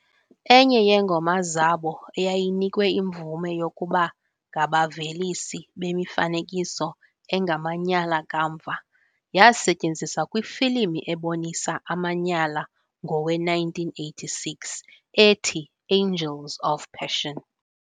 Enye yeengoma zabo eyayinikwe imvume yokuba ngabavelisi bemifanekiso engamanyala kamva yasetyenziswa kwifilimu ebonisa amanyala ngowe-1986 "ethi Angels of Passion".